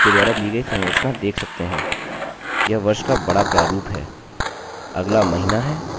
अतः 2009 02 23 जोकि 2nd की 23rd 2009 है